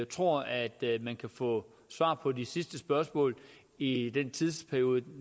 tror at man kan få svar på de sidste spørgsmål i den tidsperiode